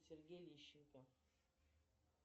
сергей лещенко